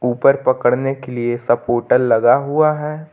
ऊपर पकड़ने के लिए सपोर्टर लगा हुआ है।